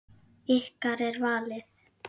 Ykkar er valið.